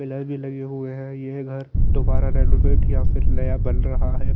Pillar भी लगे हुए हैं ये घर दुबारा रेनोवेट या फिर नया बन रहा हैं।